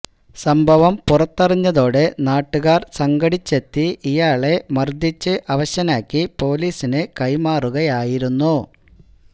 സംഭവം പുറത്തറിഞ്ഞതോടെ നാട്ടുകാർ സംഘടിച്ചെത്തി ഇയാളെ മർദ്ദിച്ച് അവശനാക്കി പൊലീസിന് കൈമാറുകയായിരുന്നു